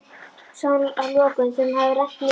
sagði hún að lokum, þegar hún hafði rennt niður.